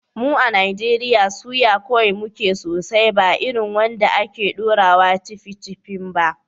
Mu a Najeriya, soya ƙwai muke sosai, ba irin wanda ake ɗorawa "ceviche bibimbap".